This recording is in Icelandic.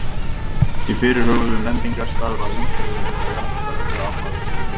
Á fyrirhuguðum lendingarstað varð umhverfið að vera jarðfræðilega áhugavert.